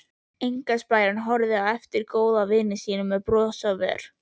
Einkaspæjarinn horfði á eftir góðvini sínum með bros á vör.